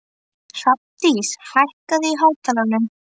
Hrafndís, hækkaðu í hátalaranum.